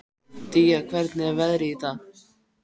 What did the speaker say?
Día, hvernig er veðrið í dag?